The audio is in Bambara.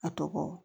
A tɔgɔ